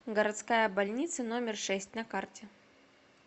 городская больница номер шесть на карте